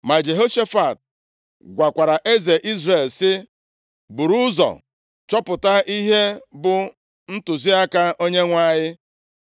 Ma Jehoshafat gwakwara eze Izrel, sị, “Buru ụzọ chọpụta ihe bụ ntụziaka Onyenwe anyị.”